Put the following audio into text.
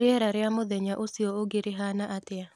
rĩera rĩa mũthenya ũcio ũngi rĩhana atĩa